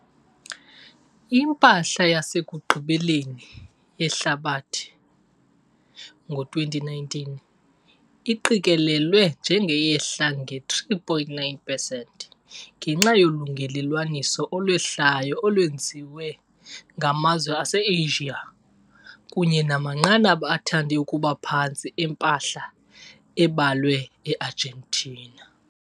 Impahla yasekugqibeleni yehlabathi ngo-2019 iqikelelwe njengeyehla nge 3,9 pesenti ngenxa yolungelelwaniso olwehlayo olwenziwe ngamazwe aseAsia kunye namanqanaba athande ukuba phantsi empahla ebalwe eArgentina.